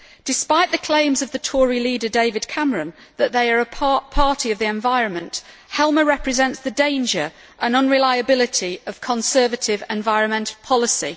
Despite the claims of the Tory leader, David Cameron, that they are a party of the environment, Helmer represents the danger and unreliability of Conservative environmental policy.